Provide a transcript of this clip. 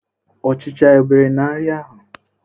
Ọchicha e bere n'nri ahụ?